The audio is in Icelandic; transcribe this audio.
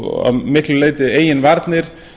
og að miklu leyti eigin varnir